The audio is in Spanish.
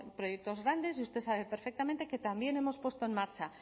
proyectos grandes y usted sabe perfectamente que también hemos puesto en marcha